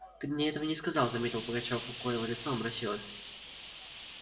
ты мне этого не сказал заметил пугачёв у коего лицо омрачилось